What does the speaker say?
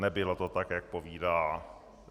Nebylo to tak, jak povídá.